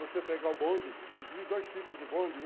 Você pega o bonde, inclusive dois tipos de bonde.